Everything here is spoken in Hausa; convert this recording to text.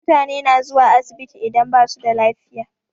Mutane na zuwa asibiti idan basu da lafiya.